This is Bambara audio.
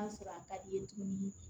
sɔrɔ a ka di i ye tuguni